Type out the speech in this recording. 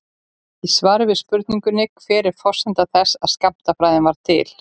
Í svari við spurningunni Hver er forsenda þess að skammtafræðin varð til?